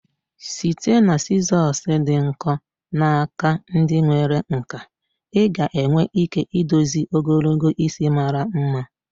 Site na sizosị dị nkọ na aka ndi nwere nkà, ị ga-enwe ike idozi ogologo isi mara mma.